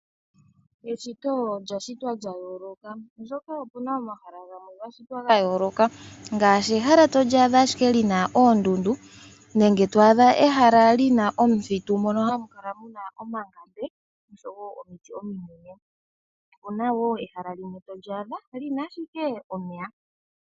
Eshito olya shitwa lyayooloka oshoka opuna omahala gamwe gashitwa gayooloka ngaashi ehala twaadha ashike lina oondundu nenge twaadha ehala lina omuthitu mono hamu kala muna omangande noshowo omiti ominene, opuna woo ehala limwe tolyaadha lina ashike omeya.